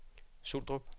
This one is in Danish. Suldrup